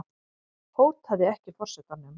Hótaði ekki forsetanum